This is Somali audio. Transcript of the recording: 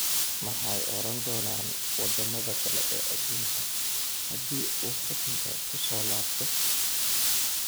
Maxay odhan doonaan wadamada kale ee aduunka hadii uu xukunka kusoo laabto?